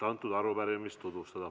Palun!